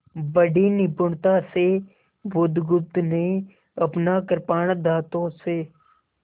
बड़ी निपुणता से बुधगुप्त ने अपना कृपाण दाँतों से